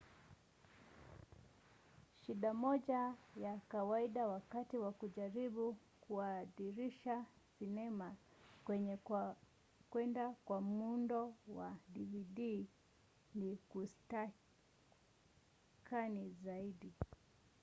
shida moja ya kawaida wakati wa kujaribu kubadilisha sinema kwenda kwa muundo wa dvd ni kuskani zaidi